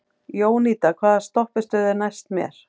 Jónída, hvaða stoppistöð er næst mér?